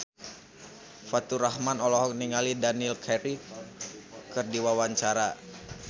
Faturrahman olohok ningali Daniel Craig keur diwawancara